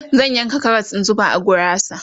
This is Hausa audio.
zan yanka Karas in zuba a gurasa